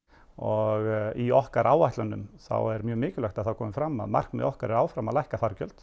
og í okkar áætlunum er mjög mikilvægt að það komi fram að markmið okkar er áfram að lækka fargjöld